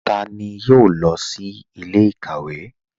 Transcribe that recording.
Tani yóò lọ sí ilẹ̀-ikawe?